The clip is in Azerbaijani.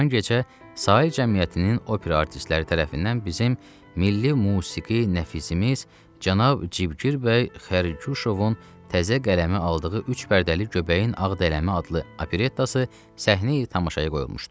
Haman gecə Sahil cəmiyyətinin opera artistləri tərəfindən bizim milli musiqi nəfisimiz cənab Cibgir bəy Xərquşovun təzə qələmi aldığı üç pərdəli "Göbəyin Ağdələmə" adlı operettası səhnə-i tamaşaya qoyulmuşdu.